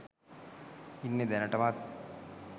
ඉන්නෙ දැනටමත්?